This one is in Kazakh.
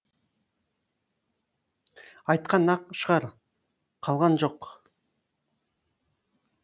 айтқан ақ шығар қалған жоқ